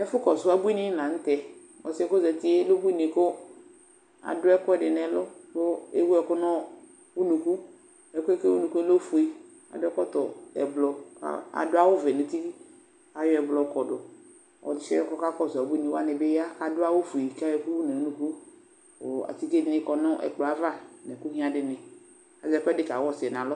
Ɛfʋkɔsʋ ebuinɩ la nʋ tɛ Ɔsɩ yɛ kʋ ɔzati yɛ lɛ ubuinɩ kʋ adʋ ɛkʋɛdɩ nʋ ɛlʋ kʋ ewu ɛkʋ nʋ unuku kʋ ɛkʋ yɛ kʋ ewu nʋ unuku yɛ lɛ ofue kʋ adʋ ɛkɔtɔ ɛblɔ kʋ adʋ awʋvɛ nʋ uti bɩ ayɔ ɛblɔ yɔkɔdʋ Ɔsɩ yɛ kʋ ɔkakɔsʋ ebuinɩ wanɩ bɩ ya kʋ adʋ awʋfue kʋ ayɔ ɛkʋ wu nʋ unuku kʋ atike dɩnɩ kɔ nʋ ɛkplɔ yɛ ava nʋ ɛkʋ ɣɩã dɩnɩ Azɛ ɛkʋɛdɩ kawa ɔsɩ yɛ nʋ alɔ